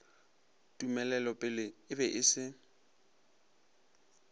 tumelelopele e be e se